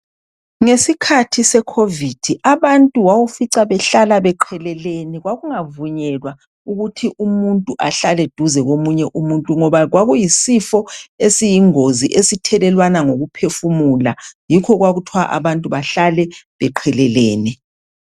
Ngesikhathi secovid abantu wawufica abantu bahlala beqelelene kwakungavunyelwa ukuthi umuntu ahlale duze komunye umuntu ngoba kwakuyisifo esiyingozi esithelelwana ngokuphefumula yikho kwakuthwa abantu bahlale beqelelene.